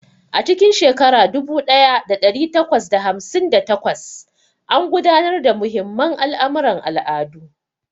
A cikin shekara dubu ɗaya da ɗari takwas da hamsin da takwas, an gudanar da muhimman al'amuran al'adu.